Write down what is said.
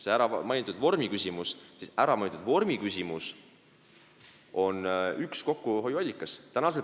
See mainitud vormiküsimus on üks kokkuhoiuallikaid.